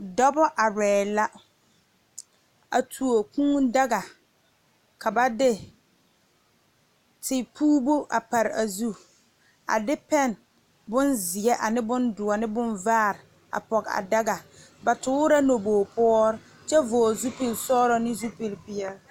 Dɔɔbo are la a tuo kūū daga ka ba de teporo a pare a zu a de pene bonziɛ, bondoɔ ane bonvaare a poɔ a daga ba tuure la nabogi poɔre kyɛ vɔgle zupele sɔglɔ ne zupele peɛle.